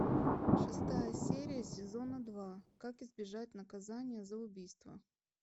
шестая серия сезона два как избежать наказания за убийство